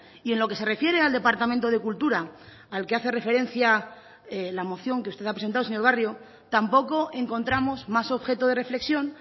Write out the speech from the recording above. y en lo que se refiere al departamento de cultura al que hace referencia la moción que usted ha presentado señor barrio tampoco encontramos más objeto de reflexión